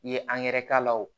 I ye k'a la o